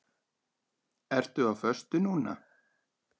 Ertu á föstu núna?